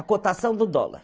A cotação do dólar.